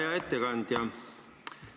Hea ettekandja!